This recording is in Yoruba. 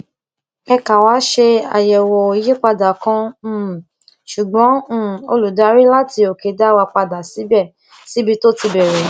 èka wá ṣe àyèwò ìyípadà kan um ṣùgbọn um olùdarí láti òkè dá wa padà síbi tó ti bèrè